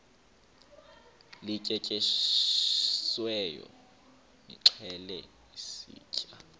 lityetyisiweyo nilixhele sitye